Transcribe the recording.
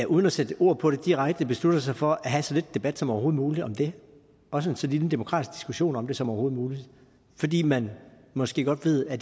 uden at sætte ord på det direkte beslutter sig for at have så lidt debat som overhovedet muligt om det også så lille en demokratisk diskussion om det som overhovedet muligt fordi man måske godt ved at